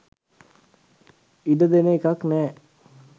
ඉඩ දෙන එකක් නෑ.